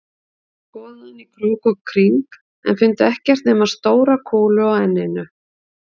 Þeir skoðuðu hann í krók og kring en fundu ekkert nema stóra kúlu á enninu